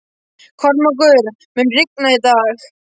Kormákur, mun rigna í dag?